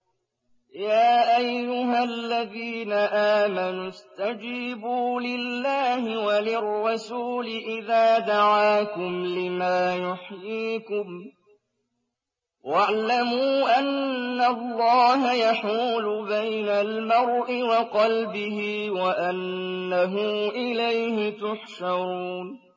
يَا أَيُّهَا الَّذِينَ آمَنُوا اسْتَجِيبُوا لِلَّهِ وَلِلرَّسُولِ إِذَا دَعَاكُمْ لِمَا يُحْيِيكُمْ ۖ وَاعْلَمُوا أَنَّ اللَّهَ يَحُولُ بَيْنَ الْمَرْءِ وَقَلْبِهِ وَأَنَّهُ إِلَيْهِ تُحْشَرُونَ